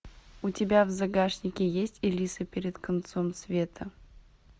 у тебя в загашнике есть элиса перед концом света